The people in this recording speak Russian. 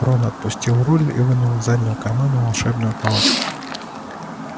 рон отпустил руль и вынул из заднего кармана волшебную палочку